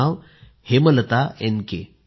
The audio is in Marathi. त्यांचं नाव हेमलता एन